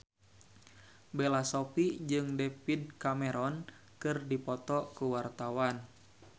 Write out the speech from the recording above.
Bella Shofie jeung David Cameron keur dipoto ku wartawan